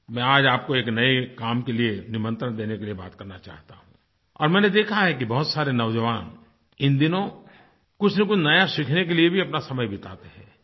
मैं आज आपको एक नये काम के लिए निमंत्रण देने के लिए बात करना चाहता हूँ और मैंने देखा है कि बहुत सारे नौज़वान इन दिनों कुछनकुछ नया सीखने के लिए भी अपना समय बिताते हैं